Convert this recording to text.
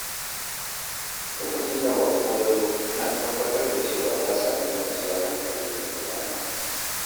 Lokacin da baƙo ya zo, ina tabbatar da cewa ya sami kwanciyar hankali a gidana.